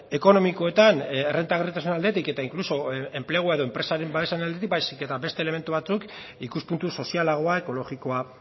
ekonomikoetan errentagarritasunaren aldetik eta inkluso enplegu edo enpresaren babesaren aldetik baizik eta beste elementu batzuk ikuspuntu sozialagoa ekologikoa